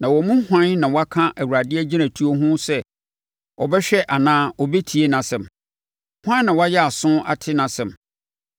Na wɔn mu hwan na waka Awurade agyinatufoɔ ho sɛ ɔbɛhwɛ anaa ɔbɛtie nʼasɛm? Hwan na wayɛ aso ate nʼasɛm?